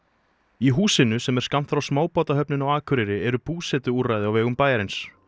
í húsinu sem er skammt frá smábátahöfninni á Akureyri eru búsetuúrræði á vegum bæjarins